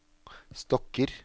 stokker